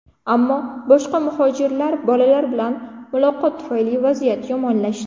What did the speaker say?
Ammo boshqa muhojirlar bolalar bilan muloqot tufayli vaziyat yomonlashdi.